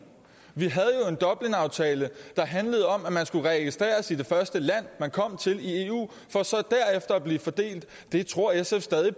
vi havde en dublinaftale der handlede om at man skulle registreres i det første land man kom til i eu for så derefter at blive fordelt det tror sf stadig